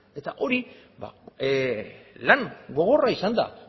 eta hori lan gogorra izan da